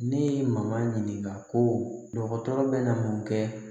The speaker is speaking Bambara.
Ne ye mankan ɲininka ko dɔgɔtɔrɔ bɛ na mun kɛ